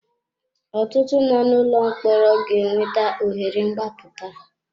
Ọtụtụ nọ n'ụlọ mkpọrọ ga enweta ohere mgbaputa.